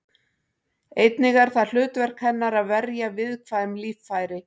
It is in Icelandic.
Einnig er það hlutverk hennar að verja viðkvæm líffæri.